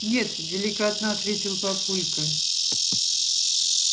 нет деликатно ответил папулька